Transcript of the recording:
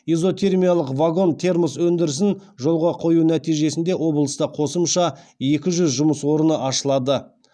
изотермиялық вагон термос өндірісін жолға қою нәтижесінде облыста қосымша екі жүз жұмыс орны ашылады